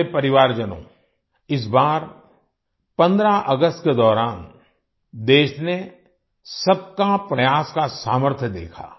मेरे परिवारजनों इस बार 15 अगस्त के दौरान देश ने सबका प्रयास का सामर्थ्य देखा